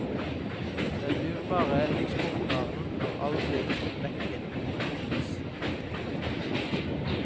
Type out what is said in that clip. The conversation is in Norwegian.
Denne dyrebare eksportvaren har aldri vekket nordmenns appetitt.